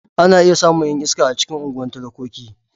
Ana iya samun 'yan iska a cikin unguwan talakoki.